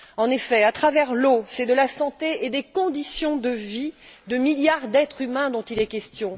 En effet, à travers l'eau, c'est de la santé et des conditions de vie de milliards d'êtres humains qu'il est question.